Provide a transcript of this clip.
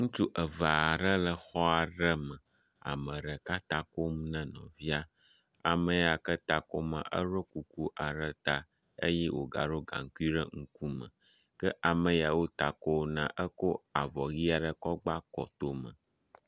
Ŋutsu eve aɖe le xɔ aɖe me. Ame ɖeka ta kom ne nɔvia. Ame ya ke ta kom la, eɖo kuku aɖe ta eye wogaɖo gaŋkui ɖe ŋkume ke ame ya wo ta kom na eko avɔ ʋi aɖe gba kɔtome.